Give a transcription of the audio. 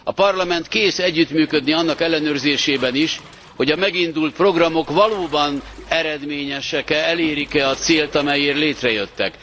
A Parlament kész együttműködni annak ellenőrzésében is, hogy a megindult programok valóban eredményesek e, elérik e a célt, amelyért létrejöttek?